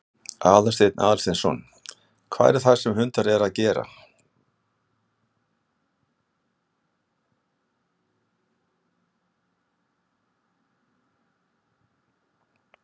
Aðalsteinn Aðalsteinsson: Hvað er það sem hundarnir eru að gera?